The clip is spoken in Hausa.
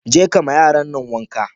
Je kama yaran nan wanka.